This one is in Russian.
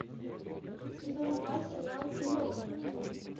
сезон два сериал клон